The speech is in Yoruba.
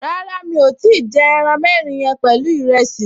Rárá, mi ò tíì jẹ ẹran mẹ́rin yẹn pẹ̀lú ìrẹsì